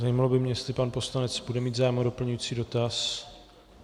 Zajímalo by mě, jestli pan poslanec bude mít zájem o doplňující dotaz.